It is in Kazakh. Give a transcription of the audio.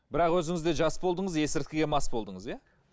бірақ өзінің де жас болдыңыз есірткіге мас болдыңыз иә